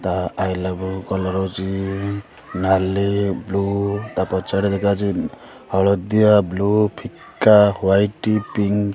ତା ଆଇଲାବେଲୁ କଲର୍ ହଉଛି ନାଲି ବ୍ଲୁ ତା ପଛଆଡେ ଦେଖାଯାଉଛି ହଳଦିଆ ବ୍ଲୁ ଫିକା ୱାଇଟ୍ ପିଙ୍କ୍ ।